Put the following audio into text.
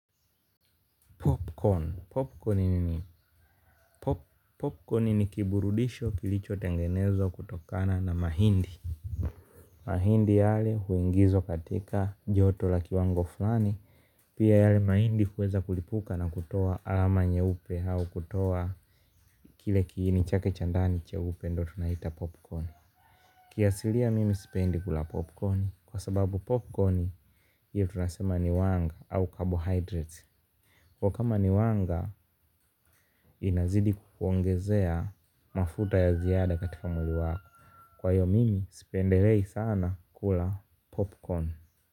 Popcorn. Popcorn ni kiburudisho kilicho tengenezwa kutokana na mahindi. Mahindi yale huingizwa katika joto la kiwango fulani. Pia yale mahindi huweza kulipuka na kutoa alama nyeupe au kutoa kile kiini chake cha ndani cheupe ndio tunaita popcorn kiasilia mimi sipendi kula popcorni kwa sababu ndio tuansema ni wanga au carbohydrates kwa kama ni wanga inazidi kuongezea mafuta ya ziada katika mwili wako kwa hio mimi sipendelei sana kula popcorn.